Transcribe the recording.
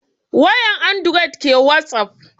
Wayan andured ke wasap